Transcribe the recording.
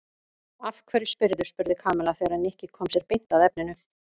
Af hverju spyrðu? spurði Kamilla þegar Nikki kom sér beint að efninu.